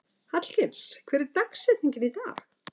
Hallgils, hver er dagsetningin í dag?